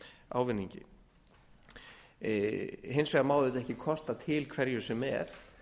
ávinningi hins vegar má auðvitað ekki kosta til hverju sem er